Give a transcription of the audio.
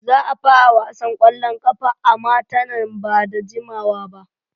Za a fara wasan ƙwallon ƙafa a mata nan ba da jimawa ba.